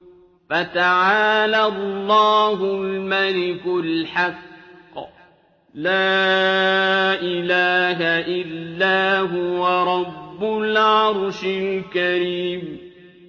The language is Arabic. فَتَعَالَى اللَّهُ الْمَلِكُ الْحَقُّ ۖ لَا إِلَٰهَ إِلَّا هُوَ رَبُّ الْعَرْشِ الْكَرِيمِ